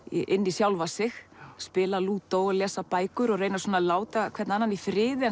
í sjálfa sig spila lúdó og lesa bækur og reyna að láta hvern annan í friði